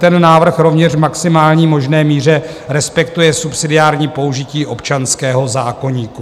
Ten návrh rovněž v maximální možné míře respektuje subsidiární použití občanského zákoníku.